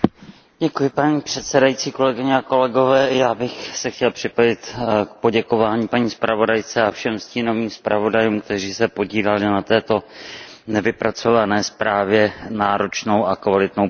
Paní předsedající, já bych se chtěl připojit k poděkování paní zpravodajce a všem stínovým zpravodajům, kteří se podíleli na této vypracované zprávě náročnou a kvalitní prací.